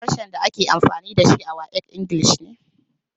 Harshen da ake amfani da shi a WAEC Ingilishi ne.